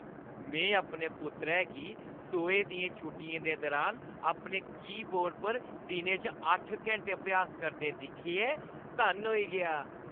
में अपने पुत्तरै गी सोहे दियें छुट्टियें दे दुरान अपने कीबोर्ड पर दिनै च अट्ठ घैंटे अभ्यास करदे दिक्खियै धन्न होई गेआ हा।